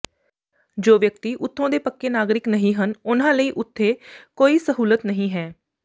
ਜੋ ਵਿਅਕਤੀ ਉੱਥੋਂ ਦੇ ਪੱਕੇ ਨਾਗਰਿਕ ਨਹੀਂ ਹਨ ਉਨ੍ਹਾਂ ਲਈ ਉੱਥੇ ਕੋਈ ਸਹੂਲਤ ਨਹੀਂ ਹੈ